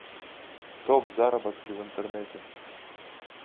топ заработки в интернете